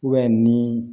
ni